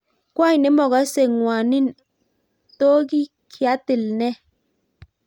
Kwony nemokose ngwaniin to kiatil nee